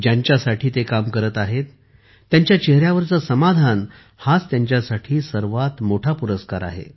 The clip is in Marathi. ज्यांच्यासाठी ते काम करत आहेत त्यांच्या चेहऱ्यावरचे समाधान हा त्यांच्यासाठी सर्वात मोठा पुरस्कार आहे